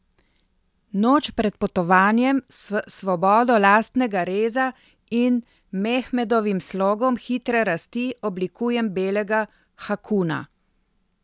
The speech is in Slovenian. Noč pred potovanjem s svobodo lastnega reza in Mehmedovim slogom hitre rasti oblikujem belega hakuuna.